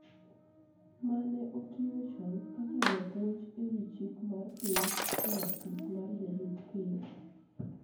ma ne otiyo chon kaka japuonj e wi chik mar piny e apis mar jalup Ker.